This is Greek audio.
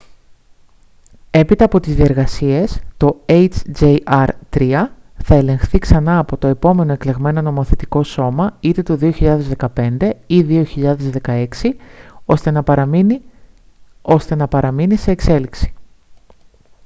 έπειτα από τις διεργασίες το hjr-3 θα ελεγχθεί ξανά από το επόμενο εκλεγμένο νομοθετικό σώμα είτε το 2015 ή 2016 ώστε να παραμείνει ώστε να παραμείνει σε εξέλιξη